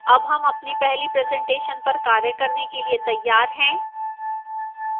अब हम अपनी पहली presentation पर कार्य करने के लिए तैयार हैं